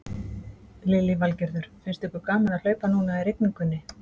Lillý Valgerður: Finnst ykkur gaman að hlaupa núna í rigningunni?